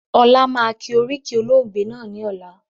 Ọlá máa kí oríkì olóògbé náà ni ọ̀la